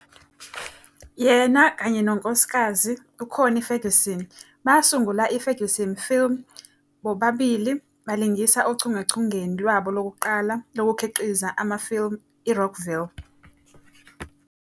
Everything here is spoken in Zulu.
Yena, kanye nonkosikazi uConnie Ferguson, basungula iFerguson Films futhi bobabili balingisa ochungechungeni lwabo lokuqala lokukhiqiza amafilimu "iRockville".